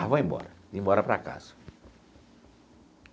Ah, vou embora, vim embora para casa.